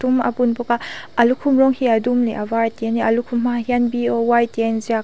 a bun bawk a a lukhum rawng hi a dum leh a var te nia a lukhum hmaah hian B_O_Y tih a inziak.